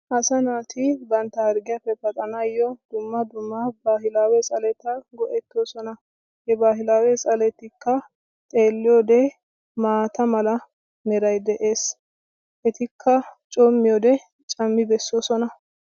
asaa naati bantta hargiyappe paxanawu dumma dumma baahilaawe tsaleta go'etoosona. ha baahilaawe tsaletikka xeeliyode maata mala meray de'ees. etikka coomiyode cammi besoosona.